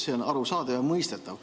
See on arusaadav ja mõistetav.